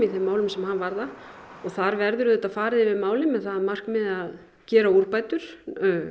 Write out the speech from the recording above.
þeim málum sem hann varða og þar verður auðvitað farið yfir málið með það að markmiði að gera úrbætur